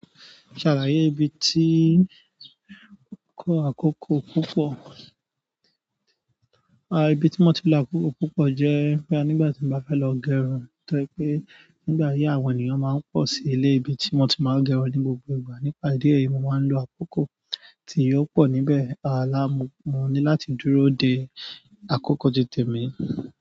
Ṣàlàyé ibi tí kó àkókò púpọ̀. A ibi tí mo ti lo àkókò púpọ̀ jẹ́ pé nígbà tí mo bá fẹ́ lọ gẹrun ti o je pé nígbà yìí àwọn ènìyàn máa ń pọ̀ sí ilé ibi tí wọ́n ti máa ń gẹrun ní gbogbo ìgbà. Nípa díẹ̀ yìí mo máa ń lo àkókò tí yóò pọ̀ níbẹ̀. A lá mú, mo ní láti dúró de àkókò tì tẹ̀mi.